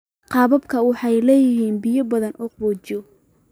Qababka waxay leeyihiin biyo badan oo qaboojiya.